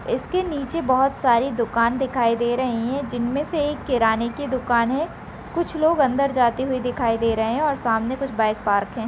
इसके नीचे बहुत सारी दुकान दिखाई दे रही है जिनमें से एक किराना की दुकान है कुछ लोग अंदर जाते हुए दिखाई दे रहे है और सामने कुछ बाइक पार्क है।